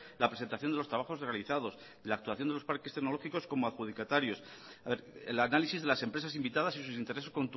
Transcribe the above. la presentación de los trabajos realizados la actuación de los parques tecnológicos como adjudicatarios el análisis de las empresas invitadas y sus intereses